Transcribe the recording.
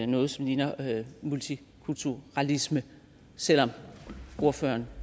noget som ligner multikulturalisme selv om ordføreren